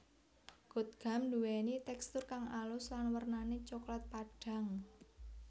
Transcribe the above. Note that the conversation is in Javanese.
Gotgam duweni tekstur kang alus lan wernane coklat padhang